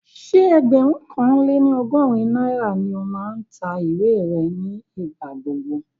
Ṣé ẹgbẹ̀rún kan lé ní ọgọ́rin náírà ni ó máa ń ta ìwé rẹ̀ ní ìgbà gbogbo